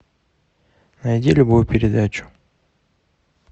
найди любую передачу